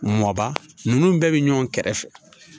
Mɔba ninnu bɛɛ bɛ ɲɔgɔn kɛrɛfɛ